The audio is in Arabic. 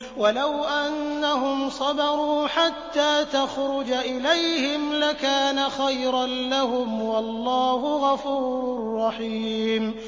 وَلَوْ أَنَّهُمْ صَبَرُوا حَتَّىٰ تَخْرُجَ إِلَيْهِمْ لَكَانَ خَيْرًا لَّهُمْ ۚ وَاللَّهُ غَفُورٌ رَّحِيمٌ